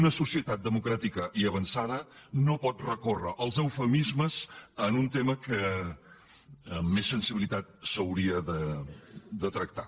una societat democràtica i avançada no pot recórrer als eufemismes en un tema que amb més sensibilitat s’hauria de tractar